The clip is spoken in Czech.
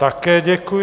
Také děkuji.